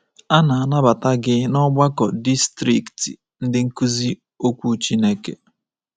A na-anabata gi ná Ọgbakọ Distrikti Ndị Nkuzi Okwu Chineke.